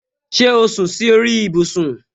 Ṣé o sún si ori ibusun